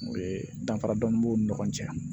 O ye danfara dɔnni b'u ni ɲɔgɔn cɛ